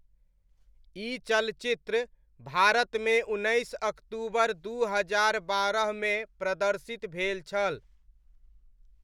ई चलचित्र भारतमे उन्नैस अक्तूबर दू हजार बारहमे प्रदर्शित भेल छल।